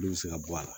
Olu bɛ se ka bɔ a la